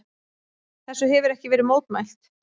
Þessu hefir ekki verið mótmælt.